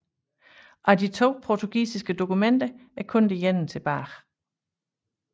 Af de to portugisiske dokumenter er kun det ene tilbage